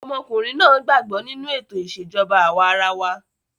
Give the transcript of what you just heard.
Ọmọkùnrin náà gbàgbọ́ nínú ètò ìṣèjọba àwa arawa.